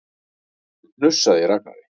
Það hnussaði í Ragnari.